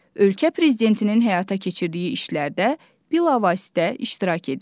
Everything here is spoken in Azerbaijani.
Ölkə prezidentinin həyata keçirdiyi işlərdə bilavasitə iştirak edir.